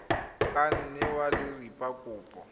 ka nne wa dira kopo